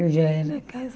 Eu já era